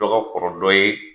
Dɔ ka kɔrɔ dɔ ye